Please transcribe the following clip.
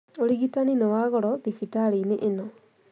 Ũrigitani nĩ wa goro thibitarĩinĩ ĩno